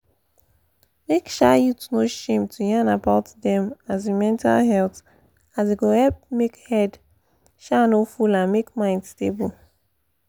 make um youths no shame to yan about them um mental health as e go help make head um no full and make mind stable